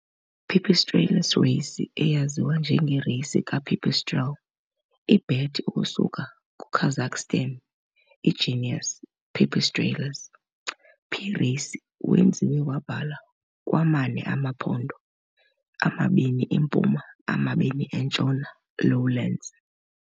Pipistrellus raceyi, eyaziwa njenge Racey ke pipistrelle, i - bat ukusuka Kazakhstan, genus "Pipistrellus". "P. raceyi" wenziwe wabhala ku zine zephondo, zimbini empuma ezimbini entshona lowlands.